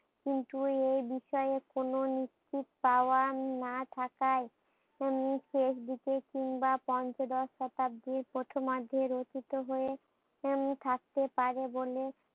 কিন্তু এই বিষয়ে কোনো নিশ্চিত পাওয়া না থাকায় উনি শেষ দিকে কিংবা পঞ্চদশ শতাব্দীর প্রথম অর্ধে রচিত হয়ে উম থাকতে পারে বলে